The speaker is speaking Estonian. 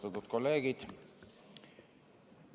Austatud kolleegid!